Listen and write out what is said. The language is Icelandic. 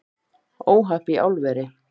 Óhapp í álveri